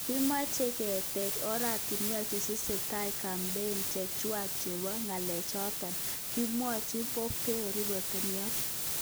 Kimoche keete oratinwek chetesetai kampein chechwaa chepo. ngelelnotet"kimwochi Pompeo ripotaek.